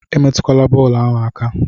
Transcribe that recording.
Emetụla bọọlụ ahụ aka!